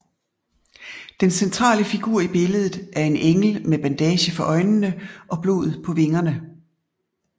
Den centrale figur i billedet er en engel med bandage for øjnene og blod på vingerne